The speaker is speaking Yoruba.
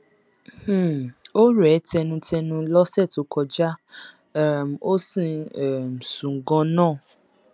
um ó rẹ ẹ tẹnutẹnu lọsẹ tó kọjá um ó sì ń um sùn ganan